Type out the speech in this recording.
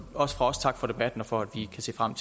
også fra os tak for debatten og for at vi kan se frem